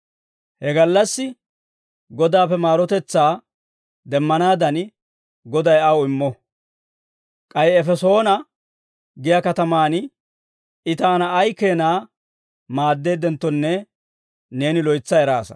He gallassi Godaappe maarotetsaa demmanaadan, Goday aw immo. K'ay Efesoona giyaa katamaan I taana ay keenaa maaddeeddenttonne neeni loytsa eraasa.